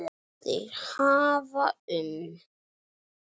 Þeir hafa um